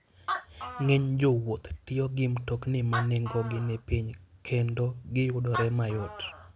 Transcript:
Ng'eny jowuoth tiyo gi mtokni ma nengogi ni piny, kendo giyudore mayot.